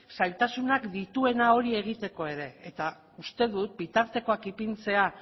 zailtasunak dituena hori egiteko ere eta uste dut bitartekoak ipintzea